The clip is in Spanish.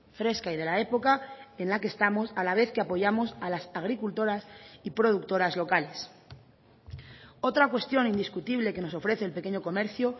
fresca y de la época en la que estamos a la vez que apoyamos a las agricultoras y productoras locales otra cuestión indiscutible que nos ofrece el pequeño comercio